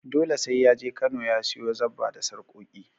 Dole sai ya je Kano ya siyo zabba da sarƙoƙi.